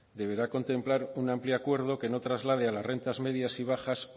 deberá contemplar un amplio acuerdo que no traslade a las rentas medias y bajar